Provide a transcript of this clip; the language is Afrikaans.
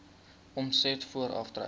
omset voor aftrekkings